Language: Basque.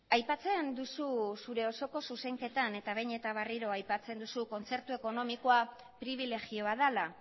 aipatzen duzu zure osoko zuzenketan eta behin eta berriro aipatzen duzu kontzertu ekonomikoa pribilegio bat dela